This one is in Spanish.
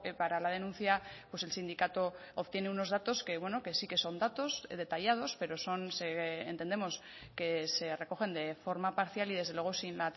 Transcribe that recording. para la denuncia pues el sindicato obtiene unos datos que bueno que sí que son datos detallados pero son se entendemos que se recogen de forma parcial y desde luego sin